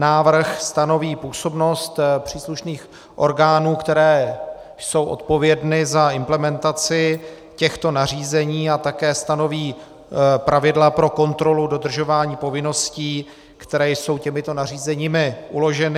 Návrh stanoví působnost příslušných orgánů, které jsou odpovědny za implementaci těchto nařízení, a také stanoví pravidla pro kontrolu dodržování povinností, které jsou těmito nařízeními uloženy.